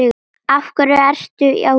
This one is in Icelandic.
Af hverju ertu á Íslandi?